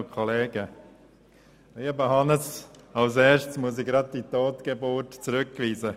Die SARZ ist alles andere als eine Totgeburt.